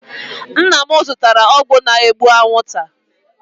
Nna m zụtara ọgwụ na-egbu anwụ nta.